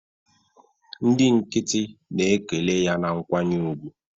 Ndị nkịtị na-ekele ya na nkwanye ùgwù